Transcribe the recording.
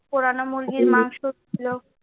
পোড়ানো মুরগির মাংসও ছিলো।